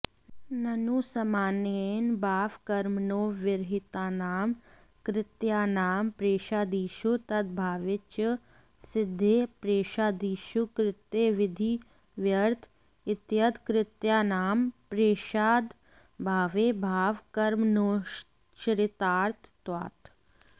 ननु सामान्येन बावकर्मणोर्विहितानां कृत्यानां प्रैषादिषु तदभावे च सिद्धेः प्रैषादिषु कृत्यविधिव्र्यर्थ इत्यत कृत्यानां प्रेषाद्यभावे भावकर्मणोश्चरितार्थत्वात्